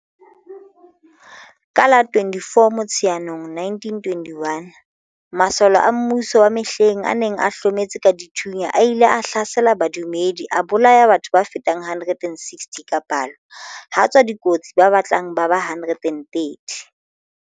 Ka la 24 Motsheanong 1921, masole a mmuso wa mehleng a neng a hlometse ka dithunya a ile a hlasela badumedi a bolaya batho ba fetang 160 ka palo ha tswa dikotsi ba batlang ba ba 130.